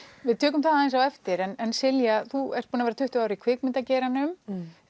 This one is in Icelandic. við tökum það aðeins á eftir en Silja þú ert búin að vera tuttugu ár í kvikmyndageiranum